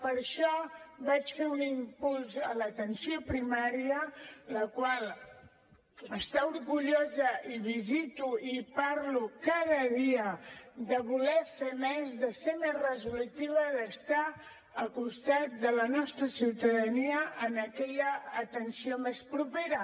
per això vaig fer un impuls a l’atenció primària la qual està orgullosa i visito i hi parlo cada dia de voler fer més de ser més resolutiva d’estar al costat de la nostra ciutadania en aquella atenció més propera